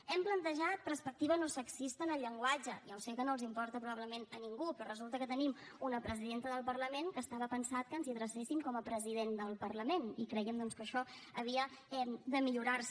hem plantejat perspectiva no sexista en el llenguatge ja sé que no importa probablement a ningú però resulta que tenim una presidenta del parlament que estava pensat que ens hi adrecéssim com a president del parlament i creiem doncs que això havia de millorar se